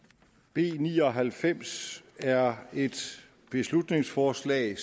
b ni og halvfems er et beslutningsforslag